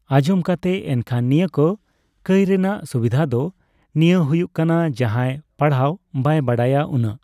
ᱟᱸᱡᱚᱢ ᱠᱟᱛᱮ ᱮᱱᱠᱷᱚᱱ ᱱᱤᱭᱟᱹ ᱠᱚ ᱠᱟᱹᱭ ᱨᱮᱱᱟᱜ ᱥᱩᱵᱤᱫᱷ ᱫᱚ ᱱᱤᱭᱟᱹ ᱦᱩᱭᱩᱜ ᱠᱟᱱᱟ ᱡᱟᱦᱟᱸᱭ ᱯᱟᱲᱦᱟᱣ ᱵᱟᱭ ᱵᱟᱲᱟᱭᱟ ᱩᱱᱟᱹᱜ